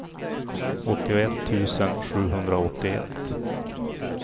åttioett tusen sjuhundraåttioett